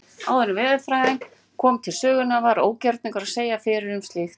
Áður en veðurfræðin kom til sögunnar var ógerningur að segja fyrir um slíkt.